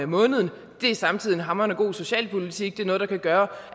måneden det er samtidig en hamrende god socialpolitik det er noget der kan gøre